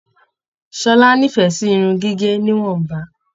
Ṣọlá n'ifẹ sí irun gígé níwọ̀nba.